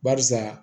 Barisa